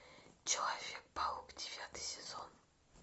человек паук девятый сезон